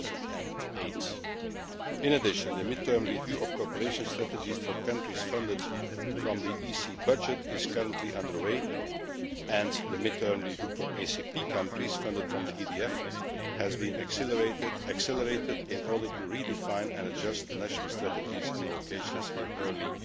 2008. In addition, the mid term review of cooperation strategies for countries funded from the EC budget is currently under way, and the mid term review for ACP countries funded from the EDF has been accelerated in order to re define and adjust the national strategies and allocations in early